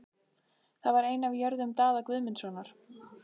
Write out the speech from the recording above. Það var ein af jörðum Daða Guðmundssonar.